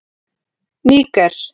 Níger